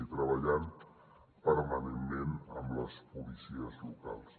i treballant permanentment amb les policies locals